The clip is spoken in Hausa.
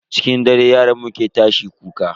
Cikin dare yaron mu ke tashi kuka.